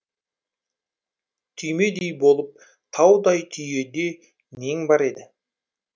түймедей болып таудай түйеде нең бар еді